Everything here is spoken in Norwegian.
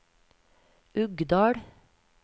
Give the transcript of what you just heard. Uggdal